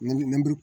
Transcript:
Nburu